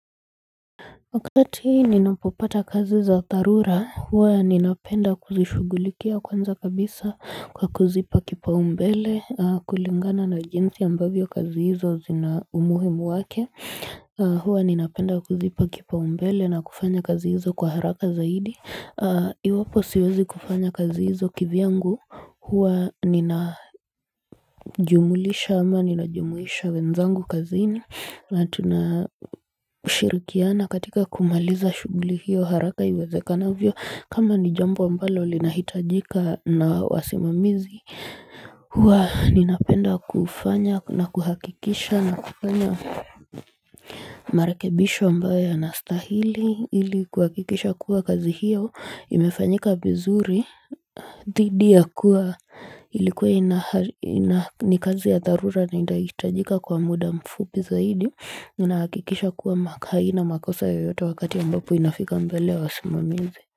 Wakati ninapopata kazi za dharura huwa ninapenda kuzishugulikia kwanza kabisa kwa kuzipa kipaumbele kulingana na jinsi ambavyo kazi hizo zina umuhimu wake huwa ninapenda kuzipa kipaumbele na kufanya kazi hizo kwa haraka zaidi Iwapo siwezi kufanya kazi hizo kivyangu, huwa ninajumulisha ama ninajumuisha wenzangu kazini na tunashirikiana katika kumaliza shughuli hiyo haraka iwezekanavyo kama ni jambo ambalo linahitajika na wasimamizi huwa ninapenda kufanya na kuhakikisha na kufanya marakebisho ambayo yana stahili ili kuhakikisha kuwa kazi hiyo imefanyika vizuri dhidi ya kuwa ilikuwa ni kazi ya dharura na inahitajika kwa muda mfupi zaidi Nina hakikisha kuwa haina makosa yoyote wakati ambapo inafika mbele ya wasimamizi.